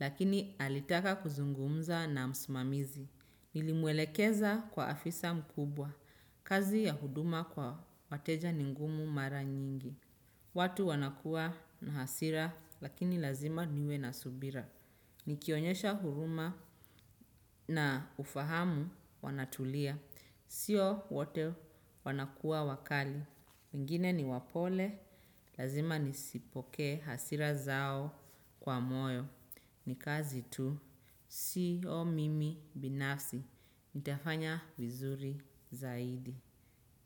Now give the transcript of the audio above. Lakini alitaka kuzungumza na msimamizi. Nilimwelekeza kwa afisa mkubwa. Kazi ya huduma kwa wateja ni ngumu mara nyingi. Watu wanakua na hasira, lakini lazima niwe na subira. Nikionyesha huruma na ufahamu wanatulia. Sio wote wanakua wakali. Wengine ni wapole, lazima nisipokee hasira zao kwa moyo. Ni kazi tu, siyo mimi binafsi. Nitafanya vizuri zaidi.